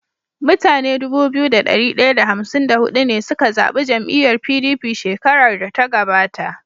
Mutane Dubu biyu da dari daya da hamsin da hudu ne suka zabi jam'iyar PDP shkerar da ta gabata